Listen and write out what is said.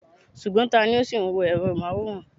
Ṣùgbọ́n, tani ó ṣì ń wo èrọ amóhùnmáwòrán?